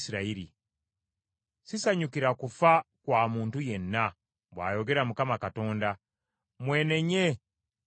Sisanyukira kufa kwa muntu yenna, bw’ayogera Mukama Katonda. Mwenenye mube balamu.”